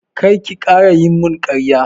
Kar ki ƙara yi mun ƙarya!